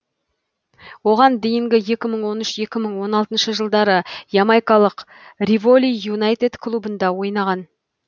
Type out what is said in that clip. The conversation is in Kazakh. оған дейінгі екі мың он үш он алтыншы жылдары ямайкалық риволи юнайтед клубында ойнаған